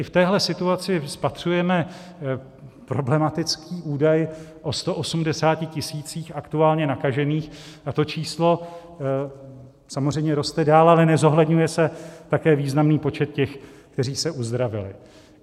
I v téhle situaci spatřujeme problematický údaj o 180 tisících aktuálně nakažených, a to číslo samozřejmě roste dál, ale nezohledňuje se také významný počet těch, kteří se uzdravili.